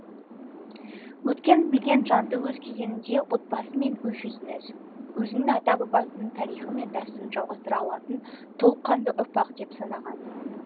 өткенін білген жанды өз кезеңінде отбасы мен өз жүзіңіз өзінің ата бабасының тарихы мен дәстүрін жалғастыра алатын толыққанды ұрпақ деп санаған